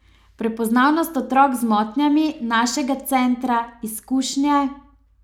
Prepoznavnost otrok z motnjami, našega centra, izkušnje ...